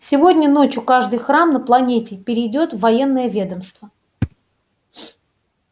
сегодня ночью каждый храм на планете перейдёт в военное ведомство